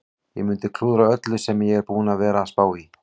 Ég mundi klúðra öllu sem ég er búinn að vera að spá í.